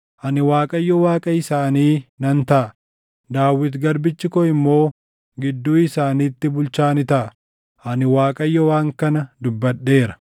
Ani Waaqayyo Waaqa isaanii nan taʼa; Daawit garbichi koo immoo gidduu isaaniitti bulchaa ni taʼa. Ani Waaqayyo waan kana dubbadheera.